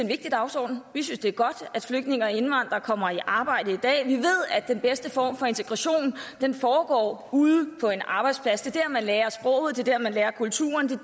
vigtig dagsorden vi synes det er godt at flygtninge og indvandrere kommer i arbejde i dag vi ved at den bedste form for integration foregår ude på en arbejdsplads det er der man lærer sproget det er der man lærer kulturen det